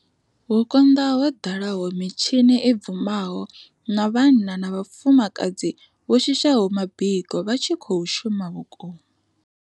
Hu konḓaho ho ḓalaho mitshi ni i bvumaho na vhanna na vhafumakadzi vho shishaho mabiko vha tshi khou shuma vhukuma.